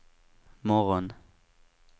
morgon